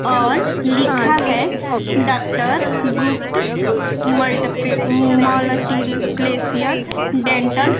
और लिखा है डॉक्टर गुप्त मल्टपे मल्टी प्लेसियन डेंटल ।